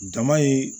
Jama ye